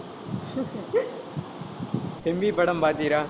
செம்பி படம் பார்த்தீரா